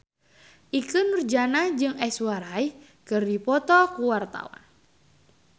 Ikke Nurjanah jeung Aishwarya Rai keur dipoto ku wartawan